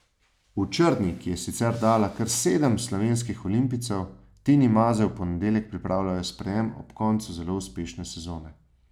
V Črni, ki je sicer dala kar sedem slovenskih olimpijcev, Tini Maze v ponedeljek pripravljajo sprejem ob koncu zelo uspešne sezone.